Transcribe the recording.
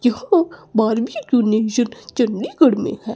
जो बार्बीक्यूनेशन चंडीगढ़ में है।